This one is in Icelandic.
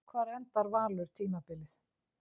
Hvar endar Valur tímabilið?